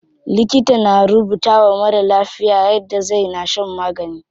Likita na rubutawa marar lafiya yadda zai na shan magani.